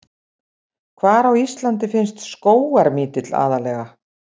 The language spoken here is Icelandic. Hvar á Íslandi finnst skógarmítill aðallega?